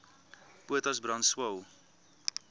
potas brand swael